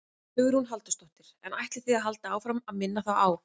Hugrún Halldórsdóttir: En ætlið þið að halda áfram að minna þá á?